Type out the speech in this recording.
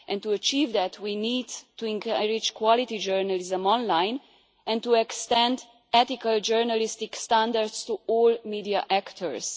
To achieve this we need to encourage quality journalism online and to extend ethical journalistic standards to all media actors.